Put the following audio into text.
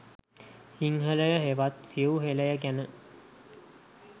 සිංහලය හෙවත් සිව් හෙළය ගැන